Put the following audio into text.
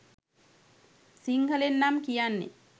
සිංහලෙන් නම් කියන්නේ